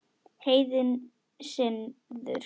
Heiðinn siður